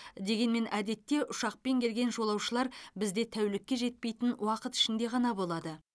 дегенмен әдетте ұшақпен келген жолаушылар бізде тәулікке жетпейтін уақыт ішінде ғана болады